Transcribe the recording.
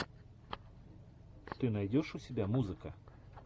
ты найдешь у себя музыка